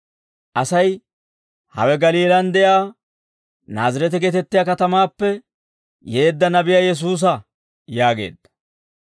Asay, «Hawe Galiilaan de'iyaa Naazireete geetettiyaa katamaappe yeedda nabiyaa Yesuusa» yaageedda.